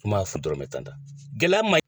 kun b'a feere dɔrɔmɛn tan tan gɛlɛya ma ɲi.